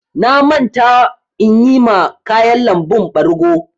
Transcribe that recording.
Na manta inyi ma ƙayan lambun ɓargo.